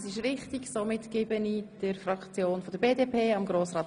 Somit haben die Fraktionen das Wort.